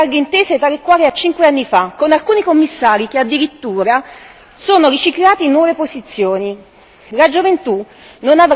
La sua composizione ripropone le larghe intese tali e quali a cinque anni fa, con alcuni Commissari che addirittura sono riciclati in nuove posizioni.